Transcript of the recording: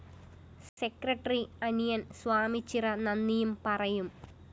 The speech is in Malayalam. സെക്രട്ടറി അനിയന്‍ സ്വാമിച്ചിറ നന്ദിയും പറയും